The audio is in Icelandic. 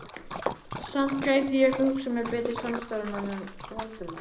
Samt gæti ég ekki hugsað mér betri samstarfsmann en Valdimar